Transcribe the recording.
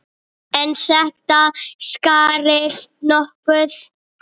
En þetta skarist nokkuð.